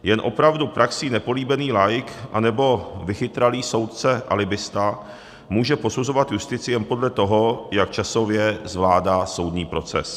Jen opravdu praxí nepolíbený laik anebo vychytralý soudce alibista může posuzovat justici jen podle toho, jak časově zvládá soudní proces.